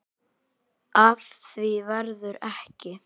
Af því verður ekki.